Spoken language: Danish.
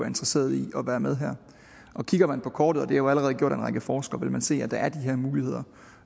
interesseret i at være med her kigger man på kortet det er jo allerede gjort af en række forskere vil man se at der er de her muligheder